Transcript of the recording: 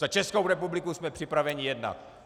Za Českou republiku jsme připraveni jednat.